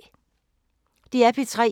DR P3